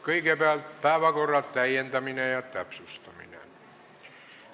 Kõigepealt, päevakorra täiendamine ja täpsustamine.